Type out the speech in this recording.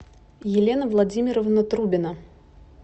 елена владимировна трубина